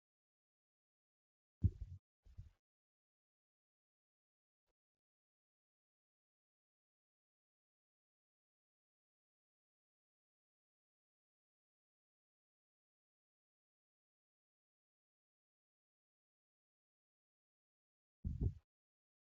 kitaaba mata dureen isaa "Dhaala" jedhu argaa jirra. innis kan inni barreeffameen nama maqaan isaa Mootii Abarra turaatiin yoo ta'u kan inni barreeffame ammoo afaan oromootiini. qola kitaabichaarra luka namootaa sansalataan hidhamanii jirantu mul'ata.